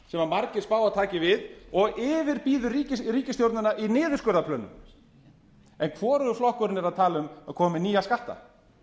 sem margir spá að taki við og yfirbýður ríkisstjórnina í niðurskurðarplönum en hvorugur flokkurinn er að tala um að koma með nýja skatta